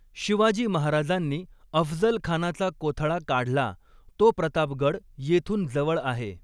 शिवाजी महाराजांनी अफझल खानाचा कोथळा काढला तो प्रताप गड येथून जवळ आहे.